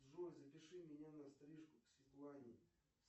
джой запиши меня на стрижку к светлане